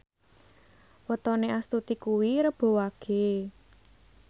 wetone Astuti kuwi Rebo Wage